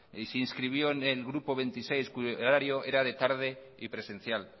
y se inscribió en el grupo veintiséis cuyo horario era de tarde y presencial